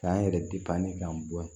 K'an yɛrɛ k'an bɔ yan